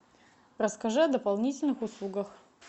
расскажи о дополнительных услугах